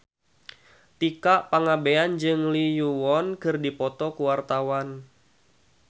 Tika Pangabean jeung Lee Yo Won keur dipoto ku wartawan